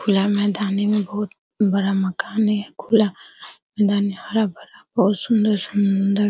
खुला मैदानी में बहुत बड़ा मकान है खुला मैदान है हरा-भरा बहुत सुन्दर-सुन्दर।